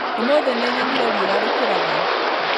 ũmũthĩ nĩnyonire riũa rĩkĩratha